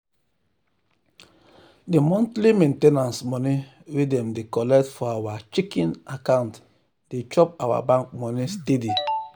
the monthly main ten ance money wey dem dey collect for our checking account dey chop our bank money steady.